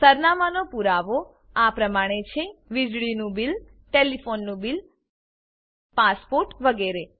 સરનામાંનો પુરાવો આપેલ પ્રમાણે છે વીજળીનું બિલ ટેલીફોનનું બિલ પાસપોર્ટ વગેરે